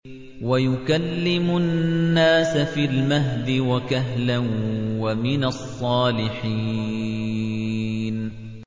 وَيُكَلِّمُ النَّاسَ فِي الْمَهْدِ وَكَهْلًا وَمِنَ الصَّالِحِينَ